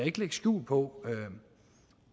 ikke lægge skjul på